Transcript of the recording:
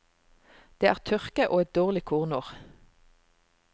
Det er tørke og et dårlig kornår.